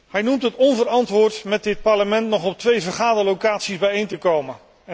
Hij noemt het onverantwoord met dit Parlement nog op twee vergaderlocaties bijeen te komen.